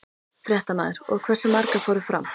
Fréttamaður: Og hversu margar fóru fram?